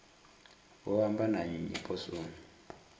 vho amba na nnyi poswoni